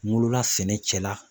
N wolo la sɛnɛ cɛla.